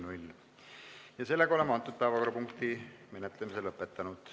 Oleme selle päevakorrapunkti menetlemise lõpetanud.